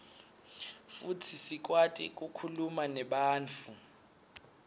futsi sikwati kukhuluma nebantfu